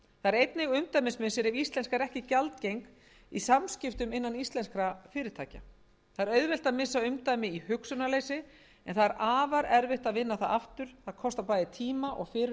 einnig umdæmismissir ef íslenska er ekki gjaldgeng í samskiptum innan íslenskra fyrirtækja það er auðvelt að missa umdæmi í hugsunarleysi en það er afar erfitt að vinna það aftur það kostar bæði tíma og fyrirhöfn og óvíst er